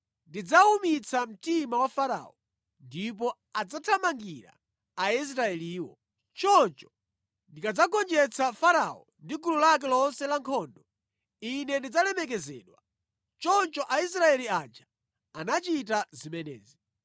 Ndidzawumitsa mtima wa Farao ndipo adzathamangira Aisraeliwo. Choncho ndikadzagonjetsa Farao ndi gulu lake lonse la nkhondo, Ine ndidzalemekezedwa.” Choncho Aisraeli aja anachita zimenezi.